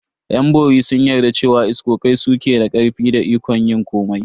Yan bori sun yarda cewa iskokai su ke da karfi da ikon yin komai.